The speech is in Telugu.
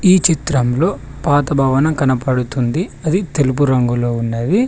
ఈ చిత్రంలో పాత భవనం కనపడుతుంది అది తెలుపు రంగులో ఉన్నది.